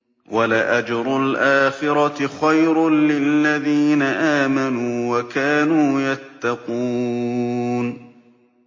وَلَأَجْرُ الْآخِرَةِ خَيْرٌ لِّلَّذِينَ آمَنُوا وَكَانُوا يَتَّقُونَ